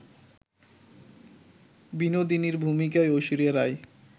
বিনোদিনীর ভূমিকায় ঐশ্বরিয়া রাই